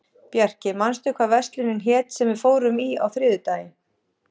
Bjarki, manstu hvað verslunin hét sem við fórum í á þriðjudaginn?